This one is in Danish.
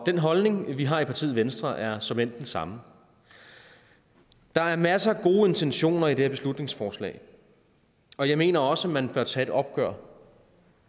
den holdning vi har i partiet venstre er såmænd den samme der er masser af gode intentioner i det her beslutningsforslag og jeg mener også at man bør tage et opgør